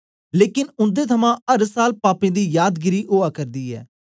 लेकन उन्दे थमां अर साल पापें दी यादगिरी ओआ करदी ऐ